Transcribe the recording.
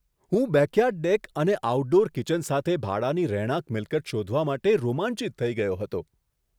હું backyard deck અને outdoor kitchen સાથે ભાડાની રહેણાંક મિલકત શોધવા માટે રોમાંચિત થઈ ગયો હતો.